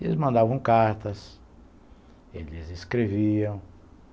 Eles mandavam cartas, eles escreviam.